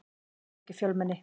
Það var mikið fjölmenni.